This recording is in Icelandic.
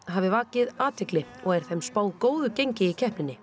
hafi vakið athygli og er þeim spáð góðu gengi í keppninni